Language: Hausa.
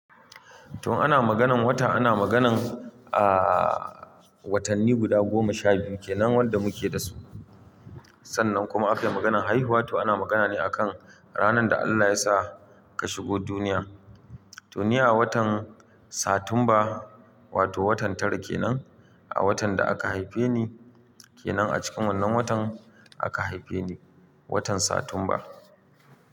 To ana maganan wata ana maganan a-a watanni guda goma sha biyu ke nan wanda muke dasu. Sannan kuma aka yi maganan haihuwa to ana magana ne akan ranar da Allah ya sa ka shigo duniya. To ni a watan Satumba wato watan tara kenan, a watan da aka haife ni kenan a cikin wannan watan aka haife ni, watan Satumba.